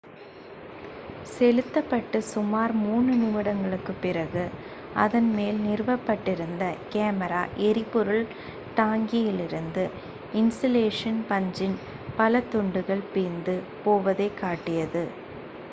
செலுத்தப் பட்டு சுமார் 3 நிமிடங்களுக்குப் பிறகு அதன் மேல் நிறுவப் பட்டிருந்த கேமரா எரிபொருள் டாங்கியிலிருந்து இன்சுலேஷன் பஞ்சின் பல துண்டுகள் பிய்ந்து போவதைக் காட்டியது